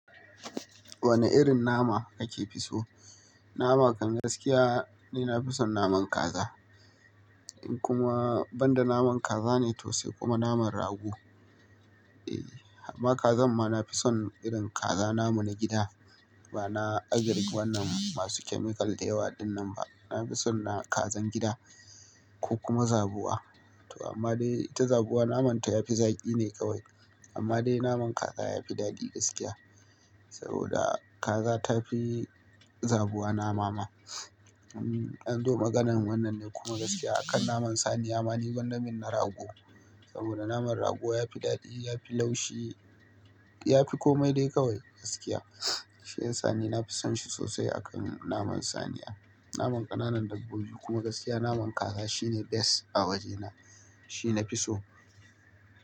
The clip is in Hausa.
Wane irin nama kake fi so? Nama kan gaskiya ni nafison naman kaza. In kuma banda naman kaza ne to sai kuma naman rago. Amma kazanma nafison irin kaza namu na gida. Ba na agrik wannan masu chemical da yawa ɗinnan ba. Nafison na kazan gida ko kuma zabuwa. To amma dai ita zabuwa namanta yafi zaƙi ne kawai. Amma dai naman kaza yafi daɗi gaskiya. Saboda kaza tafi zabuwa namama. In dai maganan wannan ne kuma gaskiya. Akan naman saniya ma ni gwanda min na rago. Saboda naman rago yafi daɗi, yafi laushi, yafi komai dai kawai gaskiya. Shi yasa ni nafison shi sosai akan naman saniya. Naman ƙananan dabbobi kuma gaskiya naman kaza shine best a wajena. Shi nafiso.